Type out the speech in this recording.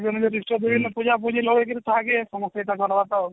ଇଷ୍ଟ ଯିଏ ହେଲେ ପୂଜା ପୂଜି ଲଗେଇକିରି ସମସ୍ତେ ତାଙ୍କର